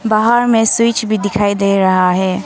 बाहर में स्वूईट्स भी दिखाई दे रहा है।